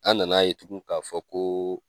An nana ye tugun k'a fɔ ko